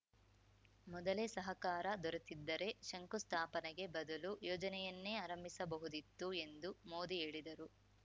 ಮೊದಲೇ ಸಹಕಾರ ದೊರೆತಿದ್ದರೆ ಶಂಕು ಸ್ಥಾಪನೆಗೆ ಬದಲು ಯೋಜನೆಯನ್ನೇ ಆರಂಭಿಸಬಹುದಿತ್ತು ಎಂದು ಮೋದಿ ಹೇಳಿದರು